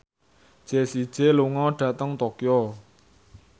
Jessie J lunga dhateng Tokyo